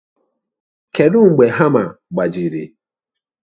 Kedu mgbe hama gbajiri?